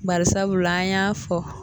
Bari sabula an y'a fɔ